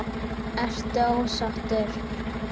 Ertu ósáttur?